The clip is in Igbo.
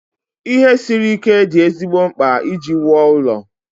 Ihe siri ike dị ezigbo mkpa iji wuo ụlọ.